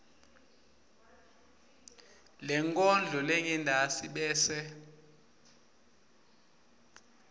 lenkondlo lengentasi bese